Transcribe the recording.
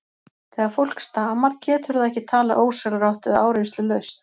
Þegar fólk stamar getur það ekki talað ósjálfrátt eða áreynslulaust.